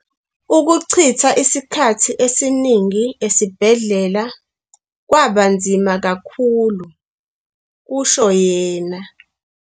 "Ukuchitha isikhathi esiningi esibhedlela kwabanzima kakhulu," kusho yena.